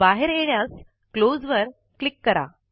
बाहेर येण्यास क्लोज वर क्लिक करा